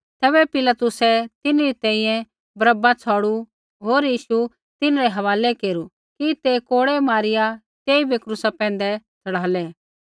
तैबै पिलातुसै तिन्हरी तैंईंयैं बरअब्बा छ़ौड़ू होर यीशु तिन्हरै हवालै केरू कि ते कोड़ै मारिया तेइबै क्रूसा पैंधै च़ढ़ालै